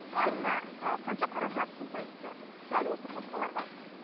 айына ы қанша қаражат жұмсайсыздар дәл осы қоспаларға